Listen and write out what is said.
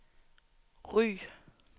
Ry